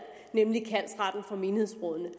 nemlig kaldsretten for menighedsrådene